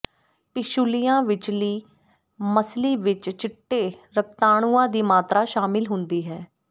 ਪਿਸ਼ੁਲੀਆਂ ਵਿਚਲੀ ਮੱਸਲੀ ਵਿਚ ਚਿੱਟੇ ਰਕਤਾਣੂਆਂ ਦੀ ਮਾਤਰਾ ਸ਼ਾਮਿਲ ਹੁੰਦੀ ਹੈ